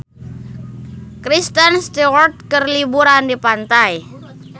Kristen Stewart keur liburan di pantai